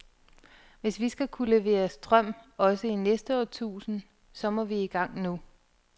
Hvis vi skal kunne levere strøm også i næste årtusind, så må vi i gang nu.